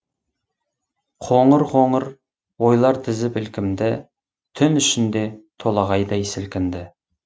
қоңыр қоңыр ойлар тізіп ілкімді түн ішінде толағайдай сілкінді